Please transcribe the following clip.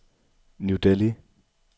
New Delhi